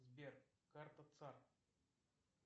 сбер карта цар